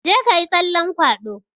Jeka yi tsallan kwado!